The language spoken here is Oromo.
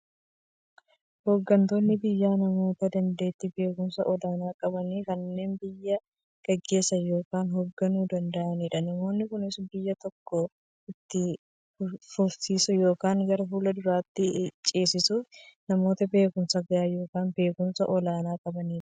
Hooggantoonni biyyaa namoota daanteettiifi beekumsa olaanaa qaban, kanneen biyya gaggeessuu yookiin hoogganuu danda'aniidha. Namoonni kunis, biyya tokko itti fufsiisuuf yookiin gara fuulduraatti ceesisuuf, namoota beekumsa gahaa yookiin beekumsa olaanaa qabaniidha.